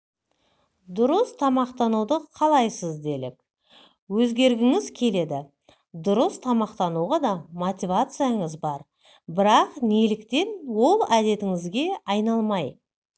дұрыс тамақтануды қалайсыз делік өзгергіңіз келеді дұрыс тамақтануға да мотивацияңыз бар бірақ неліктен ол әдетіңізге айналмай